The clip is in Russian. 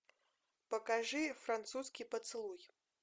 покажи французский поцелуй